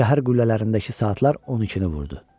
Şəhər qüllələrindəki saatlar 12-ni vurdu.